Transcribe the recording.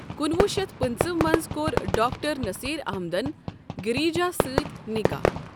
۱۹۶۵ء مٕنٛز کۄٚر ڈاکٹر نٔسیٖر اَحمدَن گِریٖجا سٕتی نِکاح۔